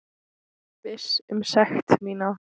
Viss um sekt mína.